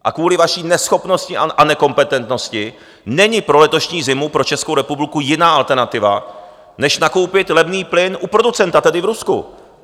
A kvůli vaší neschopnosti a nekompetentnosti není pro letošní zimu pro Českou republiku jiná alternativa než nakoupit levný plyn u producenta, tedy v Rusku.